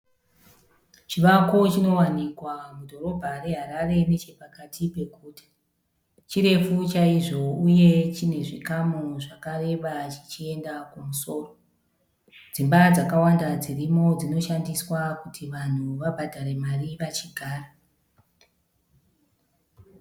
Chivako chinowanikwa mudhorobha reHarare nechepakati peguta. Chirefu chaizvo uye chine zvikamu zvakareba zvichienda kumusoro. Dzimba dzakawanda dzirimo dzinoshandiswa kuti vanhu vabhadhare mari vachigara.